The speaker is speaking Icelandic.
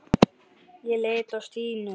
Ég leit á Stínu.